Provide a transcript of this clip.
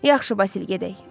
Yaxşı Vasil, gedək.